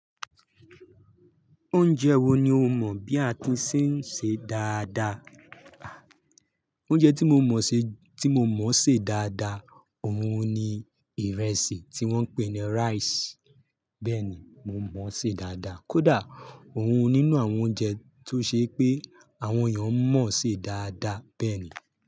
Oúnjẹ wo ni o mọ̀ bí a ti ṣe ń ṣe dáadáa? Oúnjẹ tí mo mọ̀ ṣe, tí mo mọ̀ ṣe dáadáa, òun ni ìrẹsì tí wọ́n ń pè ní rice. Bẹ́ẹ̀ ni mo mọ̀ ṣe dáadáa. Kódà òun nínú àwọn oúnjẹ tó ṣe pé àwọn èèyàn mọ̀ ṣe dáadáa. Bẹ́ẹ̀ ni.